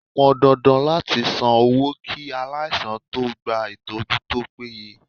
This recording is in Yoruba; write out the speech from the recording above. Ó pọn dandan láti san owó kí aláìsàn tó gba ìtọ́jú tó péye.